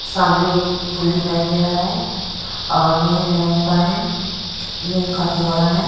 सामने एक पुल दिखाई दे रहा है और यह लड़का है यह काफी बड़ा है।